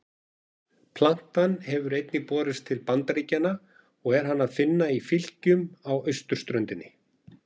Plantan hefur einnig borist til Bandaríkjanna og er hana að finna í fylkjum á austurströndinni.